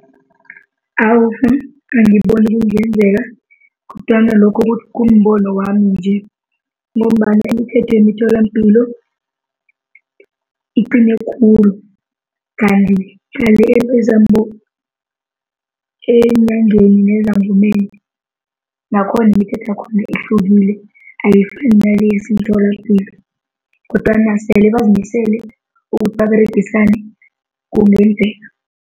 Awa angiboni kungenzeka kodwana lokho kumbono wami nje ngombana imithetho yemitholapilo iqine khulu. Kanti-ke eenyangeni nezangoma nakhona imithetho yakhona ihlukile, ayifani nale esemitholapilo. Kodwana sele bazimisele ukuthi baberegisane kungenzeka.